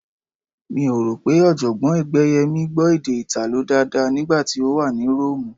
Mi ò rò pé Ọ̀jọ̀gbọ́n Ẹgbẹ́yẹmí gbọ́ èdè Ìtàló dáadáa nígbà tí wọ́n wà ní Róòmù